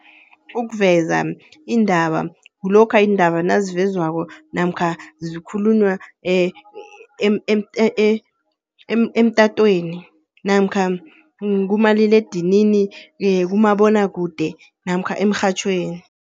Ukuveza indaba kulokha iindaba nazivezwako namkha zikhulunywa emtatweni namkha kumaliledinini kumabonwakude namkha emrhatjhweni.